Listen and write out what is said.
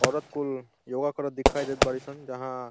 औरत कुल योगा करत दिखाई देत बाड़ी सन जहाँ --